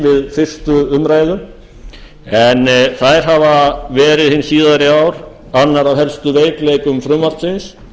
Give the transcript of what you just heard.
við fyrstu umræðu en þær hafa verið hin síðari ár annar af helstu veikleikum frumvarpsins